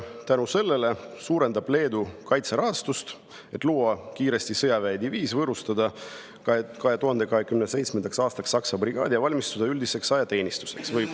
Tänu sellele suurendab Leedu kaitserahastust, et luua kiiresti sõjaväediviis, võõrustada 2027. aastal Saksa brigaadi ja valmistuda üldiseks ajateenistuseks.